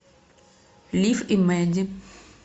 лив и мэдди